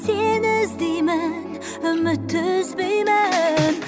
сені іздеймін үмітті үзбеймін